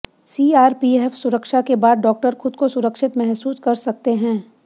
CRPF सुरक्षा के बाद डॉक्टर खुद को सुरक्षित महूसस कर सकते हैं